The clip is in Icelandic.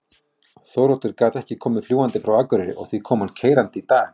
Þóroddur gat ekki komið fljúgandi frá Akureyri og því kom hann keyrandi í dag.